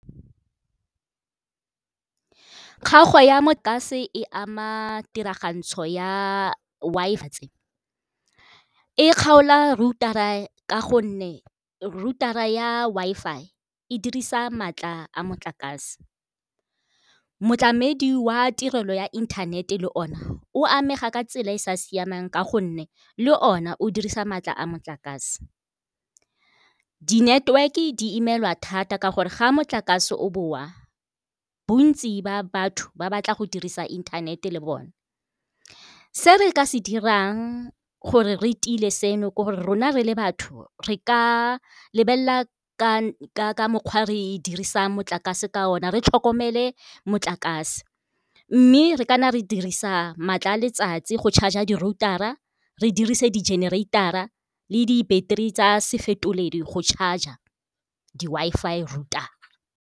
Kgaogo ya motlakase e ama tiragantso ya Wi-Fi e kgaola router-a ka gonne router-a ya Wi-Fi e dirisa maatla a motlakase. Motlamedi wa tirelo ya inthanete le ona o amega ka tsela e e sa siamang ka gonne le ona o dirisa maatla a motlakase. Di-network-e di imelwa thata ka gore, ga a motlakase o boa bontsi ba batho ba batla go dirisa inthanete le bone. Se re ka se dirang gore re tile seno ke gore rona re le batho re ka lebelela ka mokgwa re e dirisa motlakase ka ona re tlhokomele motlakase. Mme re kana re dirisa maatla a letsatsi go charger di-router-a re dirise di-generator-a le di-battery tsa se fetoledi go charger di-Wi-Fi router.